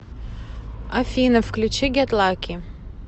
афина включи гет лаки